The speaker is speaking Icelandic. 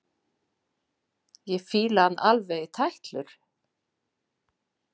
Ég fíla hann alveg í tætlur!